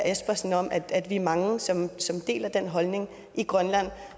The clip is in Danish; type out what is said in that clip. espersen om at vi er mange som deler den holdning i grønland